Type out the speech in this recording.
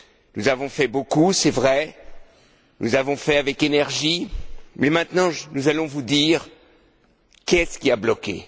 Nous avons fait beaucoup, c'est vrai, nous l'avons fait avec énergie, mais maintenant, nous allons vous dire ce qui a bloqué.